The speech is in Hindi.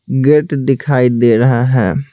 गेट दिखाई दे रहा है।